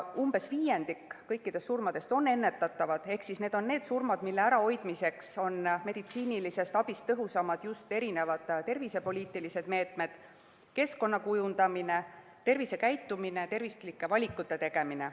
Umbes viiendik kõikidest surmadest on ennetatavad ehk need on need surmad, mille ärahoidmiseks on meditsiinilisest abist tõhusamad just tervisepoliitilised meetmed, keskkonna kujundamine, tervisekäitumine, tervislike valikute tegemine.